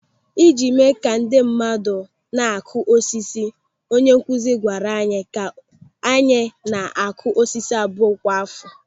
Ị ji mee ka ndị mmadụ na-akụ osisi, onye nkụzi gwara anyị ka anyị na-akụ osisi abụọ kwa àfọ.